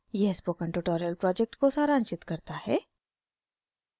यह spoken tutorial project को सारांशित करता है